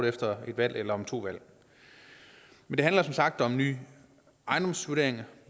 efter et valg eller om to valg det handler som sagt om nye ejendomsvurderinger